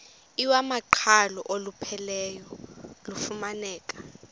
iwamaqhalo olupheleleyo lufumaneka